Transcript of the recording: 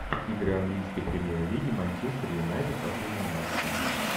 игры английской премьер лиги манчестер юнайтед последние матчи